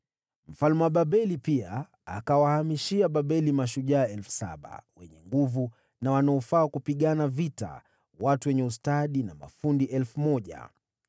Mfalme wa Babeli pia akawahamishia Babeli mashujaa elfu saba, wenye nguvu na wanaofaa kupigana vita, na watu wenye ustadi na mafundi elfu moja.